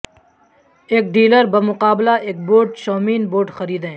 ایک ڈیلر بمقابلہ ایک بوٹ شو میں بوٹ خریدیں